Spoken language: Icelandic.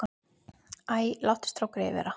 Æ, láttu strákgreyið vera.